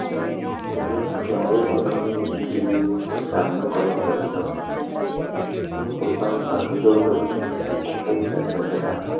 તેમને ત્યાં પણ ઘણી મુશ્કેલીઓ નું સામનો કરવો પડ્યો હતો ભાગી જવુ પડયુ કેમકે તે ખુંપજ નર્વસ હતા